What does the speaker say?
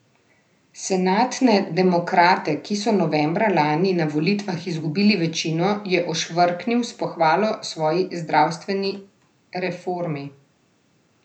Senatne demokrate, ki so novembra lani na volitvah izgubili večino, je ošvrknil s pohvalo svoji zdravstveni reformi.